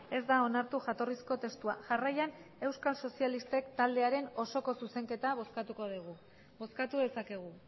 ez da onartu jatorrizko testua jarraian euskal sozialistek taldearen osoko zuzenketa bozkatuko dugu bozkatu dezakegu